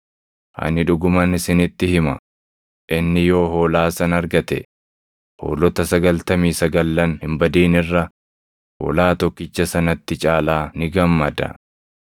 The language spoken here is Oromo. Ani dhuguman isinitti hima; inni yoo hoolaa sana argate, hoolota sagaltamii sagallan hin badin irra hoolaa tokkicha sanatti caalaa ni gammada.